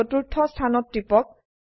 চতুর্থ স্থানত টিপক